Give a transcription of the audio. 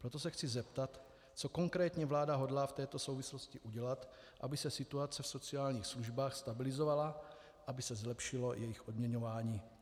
Proto se chci zeptat, co konkrétně vláda hodlá v této souvislosti udělat, aby se situace v sociálních službách stabilizovala, aby se zlepšilo jejich odměňování.